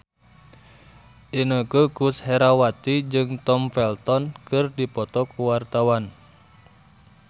Inneke Koesherawati jeung Tom Felton keur dipoto ku wartawan